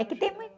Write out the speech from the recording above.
É que tem